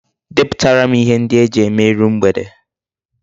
Deputara m ihe ndi eji eme iru mgbede